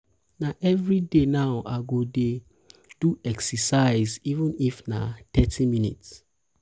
na every day now i go dey i go dey do exercise even if na thirty minutes.